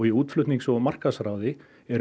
útflutnings og markaðsráði er